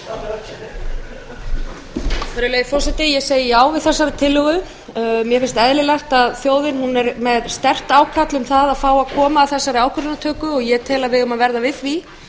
virðulegi forseti ég segi já við þessari tillögu mér finnst eðlilegt að þjóðin er með sterkt ákall um það að fá að koma að þessari ákvarðanatöku og ég tel að við eigum að verða við því